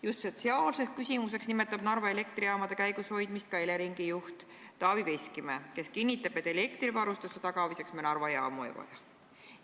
Just sotsiaalseks küsimuseks nimetab Narva Elektrijaamade käigushoidmist ka Eleringi juht Taavi Veskimäe, kes on kinnitanud, et elektrivarustuse tagamiseks me Narva jaamu ei vaja.